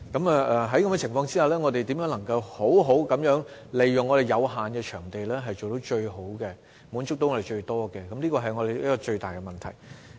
在這情況下，我們如何能夠好好地利用有限的場地滿足自己，是最大的問題。